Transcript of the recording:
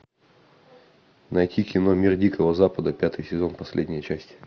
найти кино мир дикого запада пятый сезон последняя часть